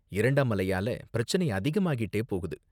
இரண்டாம் அலையால பிரச்சனை அதிகமாகிட்டே போகுது.